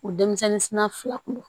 U denmisɛnnin sina fila kun don